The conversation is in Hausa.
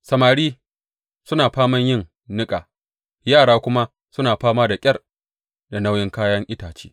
Samari suna faman yin niƙa; yara kuma suna fama da ƙyar da nauyin kayan itace.